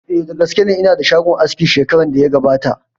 Eh, da gaske ne, ina da shagon aski shekaran da ya gabata